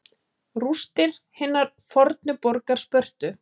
Rústir hinnar fornu borgar Spörtu.